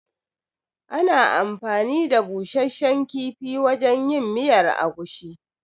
Ana anfani da busasshen kifi wajen yin miyar agushi.